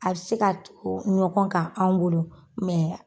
A bɛ se ka tugu ɲɔgɔn ka anw bolo